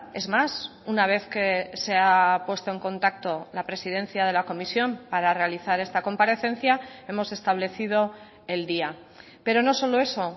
es más una vez que se ha puesto en contacto la presidencia de la comisión para realizar esta comparecencia hemos establecido el día pero no solo eso